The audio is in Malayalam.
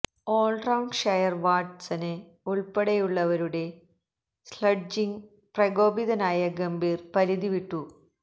ഓള് റൌണ്ടര് ഷെയ്ന് വാട്സന് ഉള്പ്പെടെയുള്ളവരുടെ സ്ലെഡ്ജിങ്ങില് പ്രകോപിതനായ ഗംഭീര് പരിധി വിട്ടു